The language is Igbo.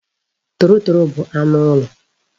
Torotoro bu anu ulo